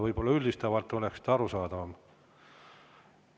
Võib-olla üldistavalt oleks arusaadavam.